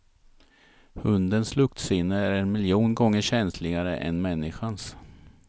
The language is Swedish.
Hundens luktsinne är en miljon gånger känsligare än människans.